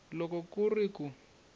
loko ku ri ku ku